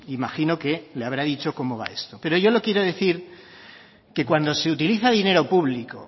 imagino que le habrá dicho como va esto pero yo le quiero decir que cuando se utiliza dinero público